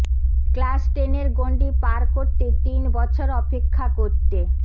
class টেনের গণ্ডি পার করতে তিন বছর অপেক্ষা করতে